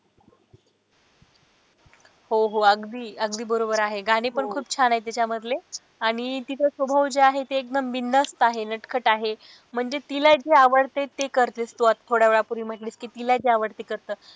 हो हो अगदी अगदी बरोबर आहे गाणी पण खूप छान आहे त्याच्यामधले आणि तिचा स्वभाव जे आहे ते एकदम बिनधास्त आहे नटखट आहे म्हणजे तिला जे आवडते ते करते तू आता थोड्या वेळा पूर्वी म्हणालीस कि तिला जे आवडत ते करत.